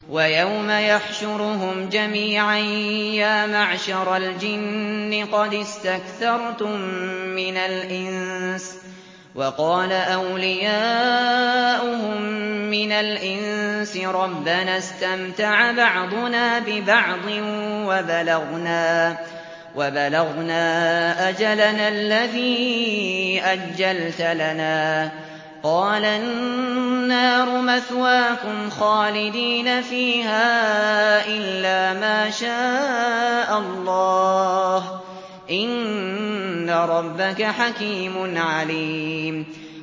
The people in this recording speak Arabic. وَيَوْمَ يَحْشُرُهُمْ جَمِيعًا يَا مَعْشَرَ الْجِنِّ قَدِ اسْتَكْثَرْتُم مِّنَ الْإِنسِ ۖ وَقَالَ أَوْلِيَاؤُهُم مِّنَ الْإِنسِ رَبَّنَا اسْتَمْتَعَ بَعْضُنَا بِبَعْضٍ وَبَلَغْنَا أَجَلَنَا الَّذِي أَجَّلْتَ لَنَا ۚ قَالَ النَّارُ مَثْوَاكُمْ خَالِدِينَ فِيهَا إِلَّا مَا شَاءَ اللَّهُ ۗ إِنَّ رَبَّكَ حَكِيمٌ عَلِيمٌ